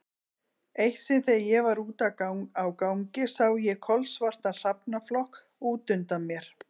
Eitt sinn þegar ég var úti á gangi sá ég kolsvartan hrafnaflokk út undan mér.